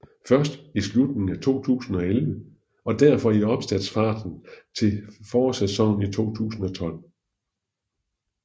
Først i slutningen af 2011 og derefter i opstartsfasen til forårssæsonen 2012